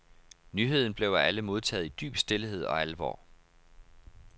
Nyheden blev af alle modtaget i dyb stilhed og alvor.